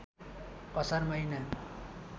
असार महिना